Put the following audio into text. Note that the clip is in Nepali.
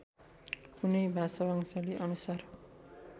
कुनै भाषावंशावली अनुसार